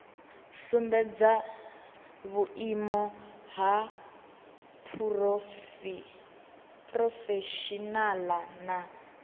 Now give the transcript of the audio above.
sumbedze vhuimo ha phurofeshinala na